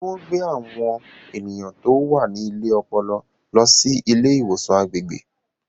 Ṣé wọ́n gbé àwọn ènìyàn tó wà ní ilé ọpọlọ lọ sí ilé ìwòsàn agbègbè?